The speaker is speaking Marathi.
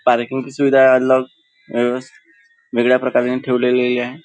पार्किंग ची सुविधा वेगळ्या प्रकारे त्यानी ठेवलेली आहे.